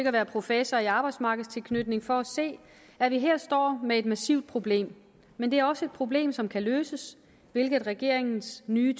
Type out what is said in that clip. at være professor i arbejdsmarkedstilknytning for at se at vi her står med et massivt problem men det er også et problem som kan løses hvilket regeringens nye